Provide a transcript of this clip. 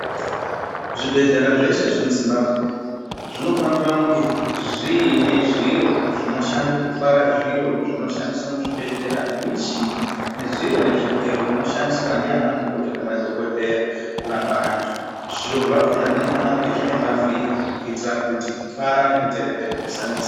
Zvibhedhlera zveshe zvemuZimbabwe zvinofanira kunge zviine zviro zvinoshande kutwara zviro zvinoshandiswa muzvibhedhlera nemichini nezviro nezvigero zvinoshandiswa ndianamukoti nemadhokodheya kurapa antu. Zviro zvakona zvinofanire kunge zvine mavhiri kuitira kuti kutwara nekuteka teka kusanesa.